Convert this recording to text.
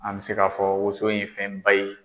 An bɛ se k'a fɔ woso ye fɛnba ye.